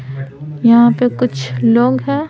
यहाँ पे कुछ लोग है।